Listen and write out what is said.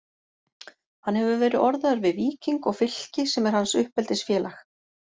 Hann hefur verið orðaður við Víking og Fylki sem er hans uppeldisfélag.